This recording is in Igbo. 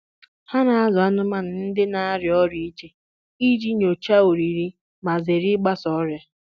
Ha na-azụ anụmanụ ndị na-arịa ọrịa iche iji nyochaa oriri ma zere ịgbasa ọrịa.